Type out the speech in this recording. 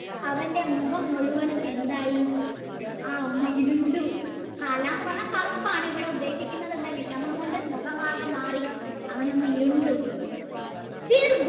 അവൻ്റെ മുഖം മുഴുൻ എന്തായി ഒന്ന്ഇ രുണ്ടു എന്ന് പറഞ്ഞാൽ കറുപ്പാണ് ഇവിടെ ഉദ്ദേശിക്കുന്നത് എന്താണ് വിഷമം കൊണ്ട് മുഖം ആകെ മാറി അവൻ ഒന്ന് ഇരുണ്ടു